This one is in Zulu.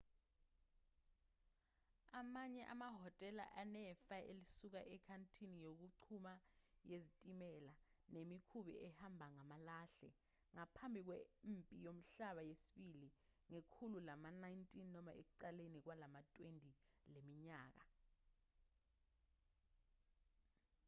amanye amahhotela anefa elisuka enkathini yokuchuma yezitimela nemikhumbi ehamba ngamalahle ngaphambi kwempi yomhlaba yesibili ngekhulu lama-19 noma ekuqaleni kwelama-20 leminyaka